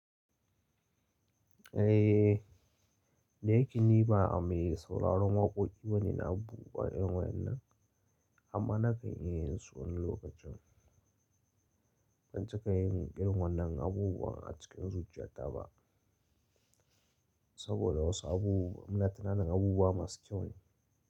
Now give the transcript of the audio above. Eh, da yake ni ba a mai sauraron waƙoƙi bane na buguƙa irin wa'ennan, amma na kan iya yin su wani lokacin. Ban cika yin irin wannan abubuwan a cikin zuciyata ba, saboda wasu abubuwa muna tunanin abubuwa masu kyau ne.